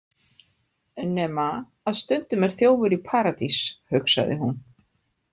Nema að stundum er þjófur í Paradís, hugsaði hún.